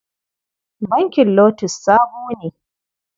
Bankin LOTUS sabo ne.